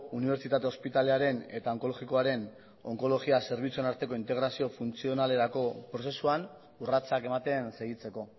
unibertsitate ospitalearen eta onkologikoaren onkologia zerbitzuen arteko integrazio funtzionalerako prozesuan urratsak ematen segitzeko